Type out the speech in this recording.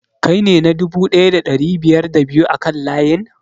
Kai ne na dubu ɗaya da ɗari biyar da biyu a kan layin?